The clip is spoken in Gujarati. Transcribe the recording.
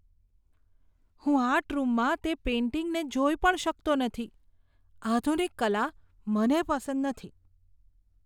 હું આર્ટ રૂમમાં તે પેઈન્ટિંગને જોઈ પણ શકતો નથી, આધુનિક કલા મને પસંદ નથી.